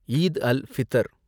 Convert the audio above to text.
Eid al Fitr